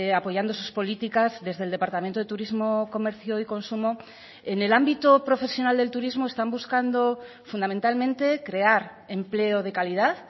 apoyando sus políticas desde el departamento de turismo comercio y consumo en el ámbito profesional del turismo están buscando fundamentalmente crear empleo de calidad